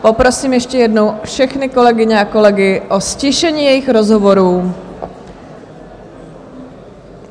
Poprosím ještě jednou všechny kolegyně a kolegy o ztišení jejich rozhovorů.